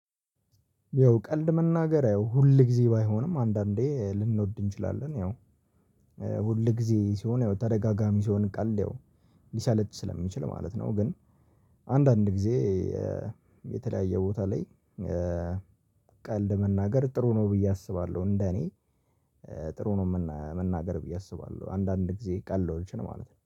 ያው ቀልድ መናገር ያው ሁል ጊዜ ባይሆንም አንዳንዴ ልንወድ እንችላለን ያው ሁል ጊዜ ሲሆን ተደጋጋሚ ሲሆን ቀልድ ሊሰለች ስለሚችል ማለት ነው። ግን አንዳንድ ጊዜ የተለያየ ቦታ ላይ ቀልድ መናገር ጥሩ ነው ብዬ አስባለሁ። እንደ እኔ ጥሩ ነው መናገር ብዬ አስባለሁ አንዳንድ ጊዜ ቀለዶችኝ ማለት ነው